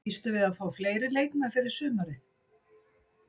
Býstu við að fá fleiri leikmenn fyrir sumarið?